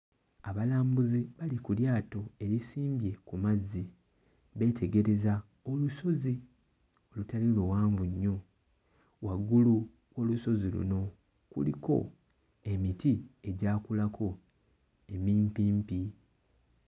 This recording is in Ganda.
Abalambuzi bali ku lyato erisimbye ku mazzi, beetegereza olusozi olutali luwanvu nnyo, waggulu ku lusozi luno kuliko emiti egyakulako emimpimpi.